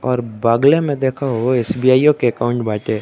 और बगले में देखा हो एस_बी_आइयो के अकाउंट बाटे।